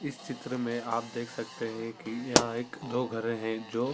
इस चित्र में आप देख सकते है की यहाँ एक दो घर है जो --